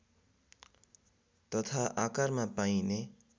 तथा आकारमा पाइने